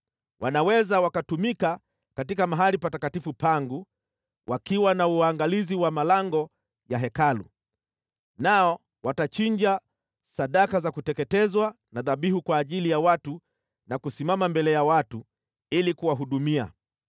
Wanaweza wakatumika katika mahali patakatifu pangu, wakiwa na uangalizi wa malango ya Hekalu, nao watachinja sadaka za kuteketezwa na dhabihu kwa ajili ya watu na kusimama mbele ya watu ili kuwahudumia.